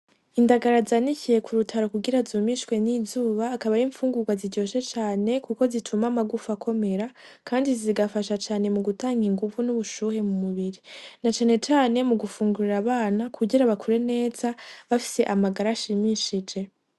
Indagara zanikiye ku rutaro kugira zumishwe n'izuba. Akaba ari imfungurwa ziryoshe cane kuko zituma amagufa akomera. Kandi zigafasha cane mu gutanga inguvu n'ubushuhe mu mubiri, na cane cane mu gufungurira abana kugira bakure neza, bafise amagara ashimishije.